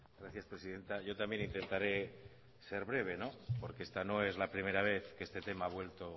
gracias presidenta yo también intentaré ser breve porque esta no es la primera vez que este tema ha vuelto